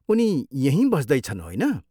उनी यहीँ बस्दैछन्, होइन?